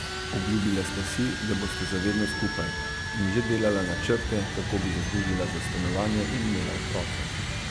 Obljubila sta si, da bosta za vedno skupaj, in že delala načrte, kako bi zaslužila za stanovanje in imela otroke.